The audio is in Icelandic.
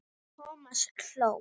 Thomas hló.